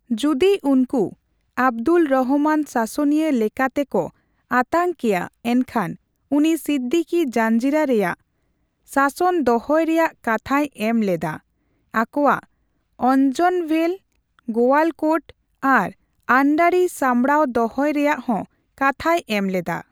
ᱡᱩᱫᱤ ᱩᱱᱠᱩ ᱟᱵᱫᱩᱞ ᱨᱚᱦᱚᱢᱟᱱ ᱥᱟᱥᱚᱱᱤᱭᱟᱹ ᱞᱮᱠᱟᱛᱮ ᱠᱚ ᱟᱛᱟᱝ ᱠᱮᱭᱟ ᱮᱱᱠᱷᱟᱱ ᱩᱱᱤ ᱥᱤᱫᱫᱤᱠᱚ ᱡᱟᱧᱡᱤᱨᱟ ᱨᱮᱭᱟᱜ ᱥᱟᱥᱚᱱ ᱫᱚᱦᱚᱭ ᱨᱮᱭᱟᱜ ᱠᱟᱛᱷᱟᱭ ᱮᱢ ᱞᱮᱫᱟ ; ᱟᱠᱚᱣᱟᱜ ᱚᱧᱡᱚᱱᱵᱷᱮᱞ, ᱜᱳᱣᱟᱞᱠᱳᱴ ᱟᱨ ᱟᱱᱰᱟᱨᱤ ᱥᱟᱢᱲᱟᱣ ᱫᱚᱦᱚᱭ ᱨᱮᱭᱟᱜ ᱦᱚᱸ ᱠᱟᱛᱷᱟᱭ ᱮᱢ ᱞᱮᱫᱟ ᱾